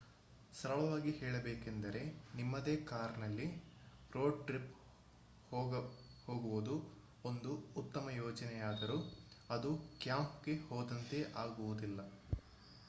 ಸರಳವಾಗಿ ಹೇಳಬೇಕೆಂದರೆ ನಿಮ್ಮದೇ ಕಾರ್ನಲ್ಲಿ ರೋಡ್ ಟ್ರಿಪ್ ಹೋಗುವುದು ಒಂದು ಉತ್ತಮ ಯೋಜನೆಯಾದರೂ ಅದು ಕ್ಯಾಂಪ್ಗೆ ಹೋದಂತೆ ಆಗುವುದಿಲ್ಲ